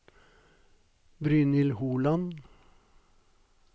Brynhild Holand